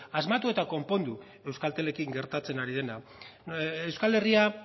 asmatu eta konpondu euskaltelekin gertatzen ari dena euskal herria